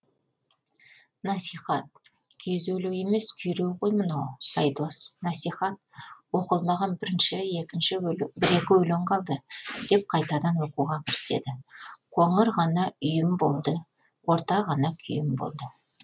насихат күйзелу емес күйреу ғой мынау айдос насихат оқылмаған бір екі өлең қалды деп қайтадан оқуға кіріседі қоңыр ғана үйім болды орта ғана күйім болды